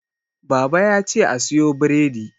baba ya ce a siyo bredi